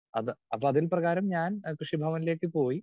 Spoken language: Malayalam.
സ്പീക്കർ 2 അത് അപ്പോ അതിൻപ്രകാരം ഞാൻ അഹ് കൃഷിഭവനിലേക്ക് പോയി.